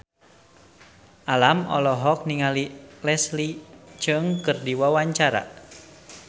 Alam olohok ningali Leslie Cheung keur diwawancara